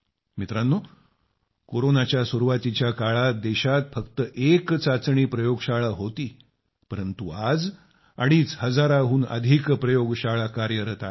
मित्रांनो कोरोनाच्या सुरूवातीच्या काळात देशात फक्त एक चाचणी प्रयोगशाळा होती परंतु आज अडीच हजाराहून अधिक प्रयोगशाळा कार्यरत आहेत